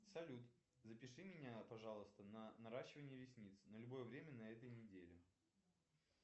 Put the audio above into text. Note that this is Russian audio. салют запиши меня пожалуйста на наращивание ресниц на любое время на этой неделе